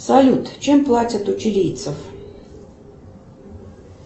салют чем платят у чилийцев